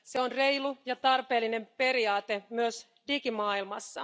Se on reilu ja tarpeellinen periaate myös digimaailmassa.